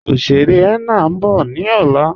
Oṣèrè henna n bọ̀ ni ọlá